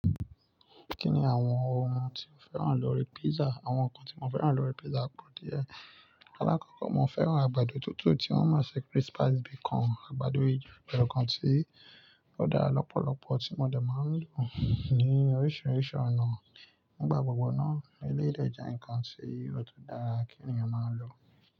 Kí ni àwọn ohun tí mo fẹ́ràn lọ́ri pizza? Àwọn ǹkan tí mo fẹ́ràn lọ́ri pizza pọ̀ díẹ̀. Alákọ̀ọ́kọ́ mo fẹ́ràn àgbàdo tútù tí wọ́n máa ń ṣe crispies bí i kan, àgbàdo yen nǹkan tí ó dára lọ́pọ̀lọpọ̀ tí mo dè máa ń lò ní oríṣiríṣi ọ̀nà. Nígbà gbogbo náà elédè jẹ́ ǹkan tí ó tó dára kí ènìyàn máa lò.